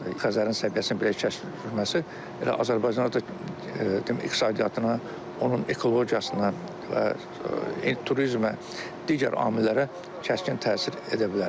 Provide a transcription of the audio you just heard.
Xəzərin səviyyəsinin belə kəskinləşməsi elə Azərbaycanda da iqtisadiyyatına, onun ekologiyasına və turizmə, digər amillərə kəskin təsir edə bilər.